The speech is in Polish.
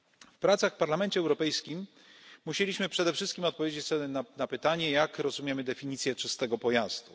W pracach w Parlamencie Europejskim musieliśmy przede wszystkim odpowiedzieć sobie na pytanie, jak rozumiemy definicję czystego pojazdu.